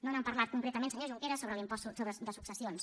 no han parlat concretament senyor junqueras sobre l’impost de successions